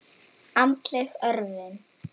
Andleg örvun.